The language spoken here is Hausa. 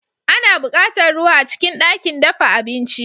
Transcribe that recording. Ana buƙatar ruwa a cikin ɗakin dafa abinci.